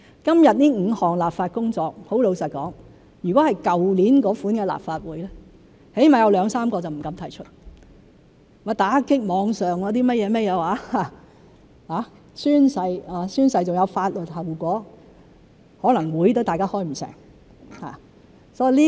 今天這5項立法工作，坦白說，如果是在去年的立法會，至少有兩三個不敢提出——打擊網上"起底"、宣誓而且有法律後果——可能大家會議也開不成。